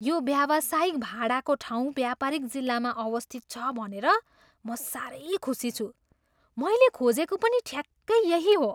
यो व्यावसायिक भाडाको ठाउँ व्यापारिक जिल्लामा अवस्थित छ भनेर म सारै खुसी छु। मैले खोजेको पनि ठ्याक्कै यही हो।